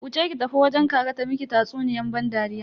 Wuce ki tafi wajen kaka ta miki tatsuniyan ban dariya.